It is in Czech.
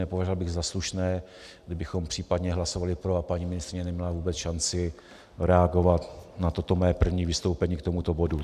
Nepovažoval bych za slušné, kdybychom případně hlasovali pro a paní ministryně neměla vůbec šanci reagovat na toto moje první vystoupení k tomuto bodu.